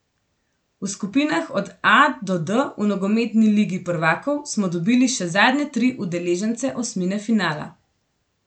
V skupinah od A do D v nogometni Ligi prvakov smo dobili še zadnje tri udeležence osmine finala.